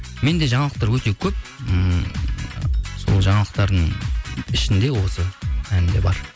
менде жаңалықтар өте көп ыыы сол жаңалықтардың ішінде осы ән де бар